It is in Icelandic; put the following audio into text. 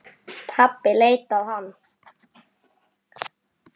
Pabbi leit á hann.